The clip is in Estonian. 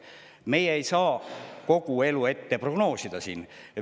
Meie siin ei saa kogu elu prognoosida.